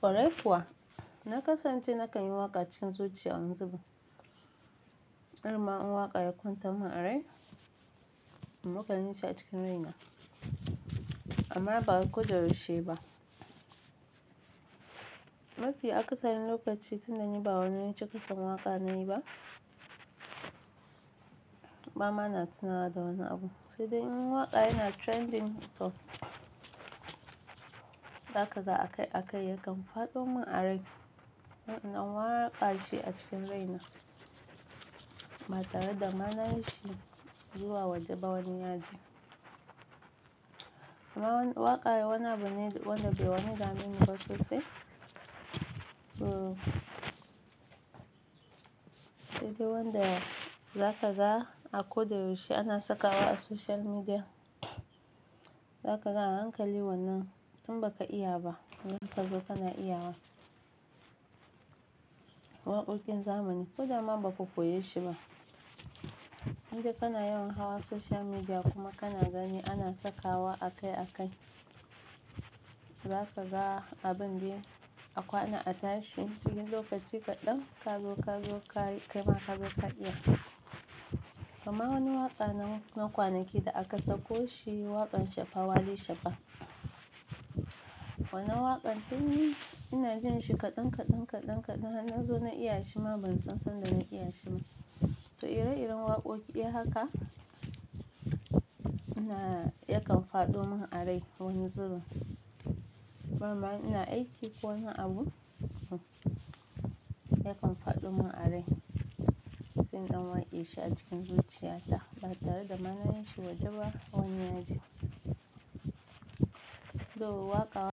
Kwarai kuwa. Na kasance na kanyi waƙa cikin zuciya wani zubalin. Dama in waƙa ya kwantar min a rai na kan yi shi a cikin rina. Amma ba wai koda yaushe ba. Mafi akasari lokaci tunda ni ba wani cika son waƙa nayi ba. Bama na tunawa da wani abu. Sai dai in waƙa yana trending tot. Zaka ga a kai a kai yakan faɗo min a rai. Na waƙa shi a cikin rina. Ba tare da ma nayi shi zuwa waje ba wani ya ji. Amma wani waƙa yana wani abu ne wanda bai wani dameni ba sosai. Uh. Sai dai wanda zaka ga a koda yaushe ana sakawa a social media. Zaka ga a hankali wannan tun ba ka iya ba. Zaka zo kana iyawa. Waƙoƙin zamani. Ko da ma ba ka koye shi ba. In dai kana yawan hawa social media kuma kana gani ana sakawa a kai a kai. Zaka ga abin dai a kwana a tashi cikin lokaci kaɗan ka zo ka zo ka yi kaima ka zo ka iya. Amma wani waƙa nan na kwanaki da aka sako shi waƙan Shafa Wali Shafa. Wannan waƙan tun ina jin shi kaɗan kaɗan kaɗan kaɗan har nazo na iya shi ma ban san sanda na iya shi ba. To ire-iren waƙoƙi haka. Na yakan faɗo min a rai wani zubin. Bama in ina aiki ko wani abu. Yakan faɗo min a rai. Sai in ɗan waƙe shi a cikin zuciya ta. Ba tare da ma na yi shi wajeba wani yaji. To waƙa.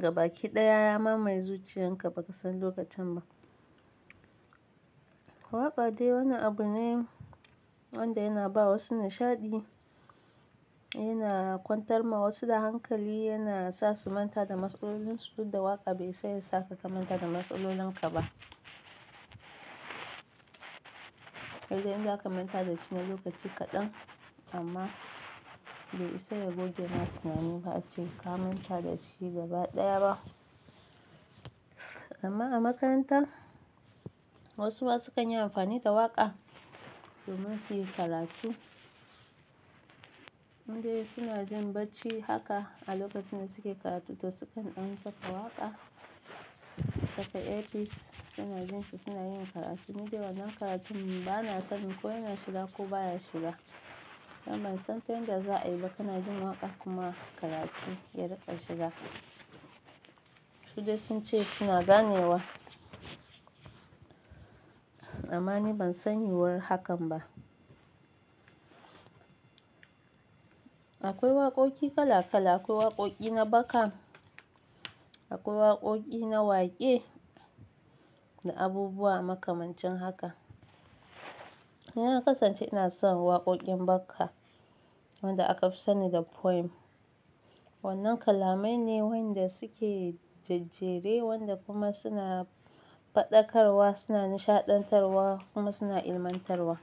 Gabaki ɗaya ya mamaye zuciyan ka ba ka san lokacin ba. Waƙa dai wani abu ne wanda yana bawa wasu nishaɗi. Yana kwantar ma wasu da hankali yana sa su manta da matsalolinsu duk da waƙa bai isa yasa ka ka manta da matsalolin ka ba. Sai dai in zaka manta da shi na lokaci kaɗan amma bai isa ya goge ma tunanin ba ace ka manta da shi gaba ɗaya ba. Amma a makaranta wasu ma su kan yi amfani da waƙa domin su yi karatu. Indai suna jin bacci haka a lokacin da suke karatu to sukan ɗan saka waƙa, su saka earbuds suna jin shi suna yin karatu. Ni dai wannan karatun bana sani ko yana shiga ko baya shiga. Ban san ta yanda za a yi ba kana jin waƙa kuma karatu ya riƙa shiga. Su dai sun ce suna ganewa. Amma ni ban sani war hakan ba. Akwai waƙoƙi kala kala akwai waƙoƙi na baka akwai waƙoƙi na waƙe da abubuwa makamancin haka. Ni na kasance ina son waƙoƙin baka wanda aka fi sani da poem. Wannan kalamai ne wanda suke jajjere wanda kuma suna faɗakarwa suna nishaɗantarwa kuma suna ilmantarwa.